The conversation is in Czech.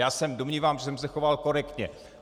Já se domnívám, že jsem se choval korektně.